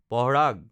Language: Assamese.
পঃৰাগ